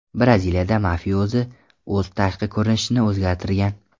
Braziliyada mafiozi o‘z tashqi ko‘rinishini o‘zgartirgan.